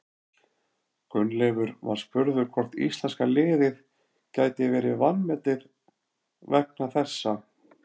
Gunnleifur var spurður hvort íslenska liðið gæti verið vanmetið vegna þessa.